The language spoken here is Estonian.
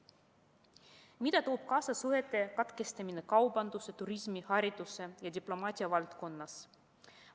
Mida toob kaasa suhete katkestamine kaubanduse, turismi, hariduse ja diplomaatia valdkonnas?